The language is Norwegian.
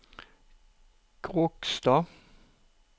Kråkstad